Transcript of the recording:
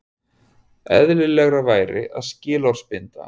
Eðlilegra væri að skilorðsbinda hann